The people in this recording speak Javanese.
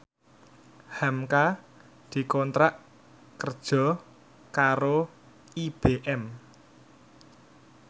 hamka dikontrak kerja karo IBM